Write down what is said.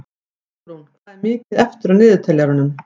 Borgrún, hvað er mikið eftir af niðurteljaranum?